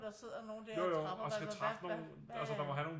Og der sidder nogle der og træffer der og hvad hvad hvad